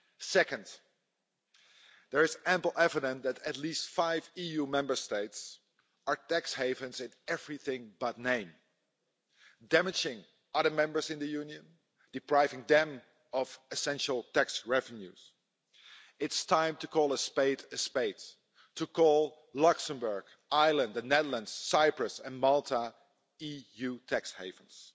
Second, there is ample evidence that at least five EU Member States are tax havens in everything but name, damaging other Members in the Union, depriving them of essential tax revenues. It is time to call a spade a spade, to call Luxembourg, Ireland, the Netherlands, Cyprus and Malta EU tax havens.